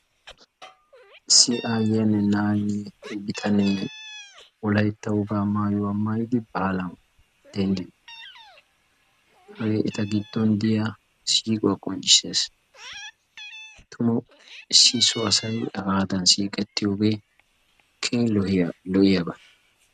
Issi aayyiyanne na'ay/bitanee wolaytta woga maayyuwa maayyidi baala denddi, hagee eta giddon diya siiquwa qonccisees. Tumu issi so asay hagadan siiqetiyooge keehin lo"iyaaba.